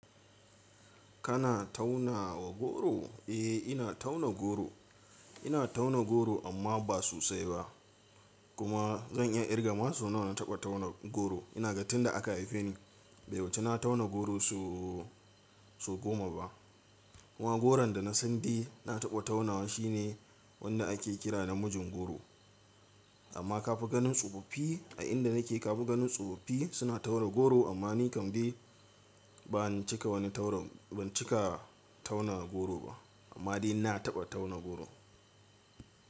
Kana tauna wa goro? Eh ina tauna goro, ina tauna goro amma ba sosai ba. Kuma zan iya kirga ma sau nawa na taɓa tauna goro. Ina ga tinda aka haife ni bai wuce na tauna goro so goma ba. Kuma goron da na san dai na taɓa taunawa shine wanda ake kira da mijin goro. Amma ka fi ganin tsofaffi a inda nake ka fi ganin tsofaffi suna tauna goro amma ni kam dai ban cika wani tauna goro ba amma dai na taɓa tauna goro.